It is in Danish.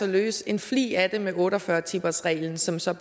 at løse en flig af det med otte og fyrre timers reglen som så